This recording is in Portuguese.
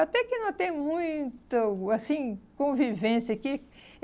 Até que não tem muito, assim, convivência aqui.